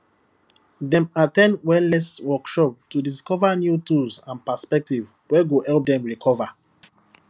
dem at ten wellness workshops to discover new tools and perspectives wey go help dem recover